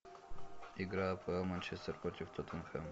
игра апл манчестер против тоттенхэма